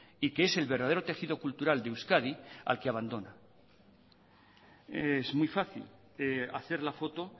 y que es el verdadero tejido cultural de euskadi al que abandona es muy fácil hacer la foto